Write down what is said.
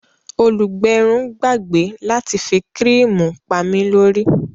Olùgbẹrun gbàgbé láti fi kíríìmù pami lórí